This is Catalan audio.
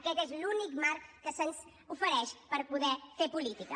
aquest és l’únic marc que se’ns ofereix per poder fer política